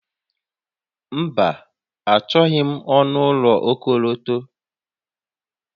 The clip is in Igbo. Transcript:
Mba, Achọghị m ọnụ ụlọ okọlọtọ